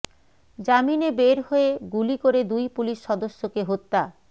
জামিনে বের হয়ে গুলি করে দুই পুলিশ সদস্যকে হত্যা